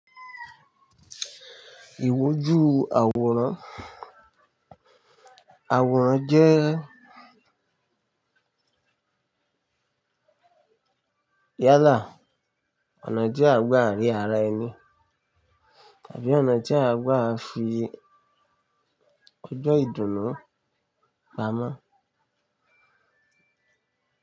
Ìwójú àwòrán, àwòrán jẹ́ yálà, ọ̀nà jẹ́ àgbà rí ara ẹni tàbí ọ̀nà jẹ́ àgbà fi ọjọ́ ìdùnnú pamọ́.